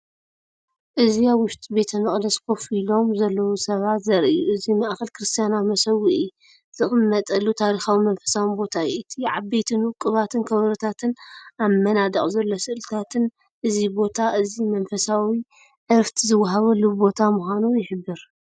እዚ ኣብ ውሽጢ ቤተ መቕደስ ኮፍ ኢሎም ዘለዉ ሰባት ዘርኢ እዩ። እቲ ማእከል ክርስትያናዊ መሰውኢ ዝቕመጠሉ ታሪኻውን መንፈሳውን ቦታ እዩ። እቲ ዓበይትን ውቁባትን ከበሮታትን ኣብ መናድቕ ዘሎ ስእልታትን እዚ ቦታ እዚ መንፈሳዊ ዕረፍቲ ዝወሃበሉ ቦታ ምዃኑ ይሕብር።